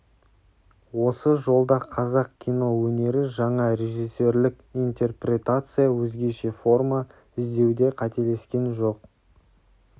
осы жолда қазақ кино өнері жаңа режиссерлік интерпретация өзгеше форма іздеуде қателескен жоқ